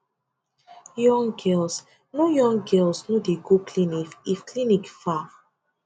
young girls no young girls no dey go clinic if clinic far